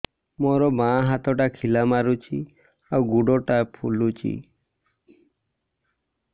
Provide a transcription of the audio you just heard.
ମୋ ବାଆଁ ହାତଟା ଖିଲା ମାରୁଚି ଆଉ ଗୁଡ଼ ଟା ଫୁଲୁଚି